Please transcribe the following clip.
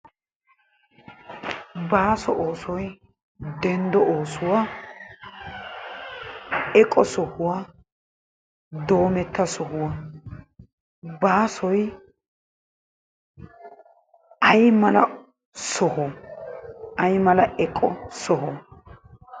Baaso oosoy denddo oosuwa eqo sohuwa doometta sohuwa. Baasoy aymala soho aymala eqo soho?